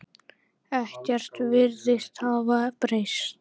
Ekkert virðist hafa breyst.